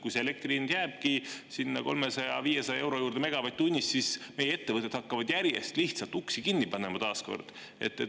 Kui elektri hind jääbki 300–500 euro juurde megavatt-tunnist, siis meie ettevõtted hakkavad taas kord järjest lihtsalt uksi kinni panema.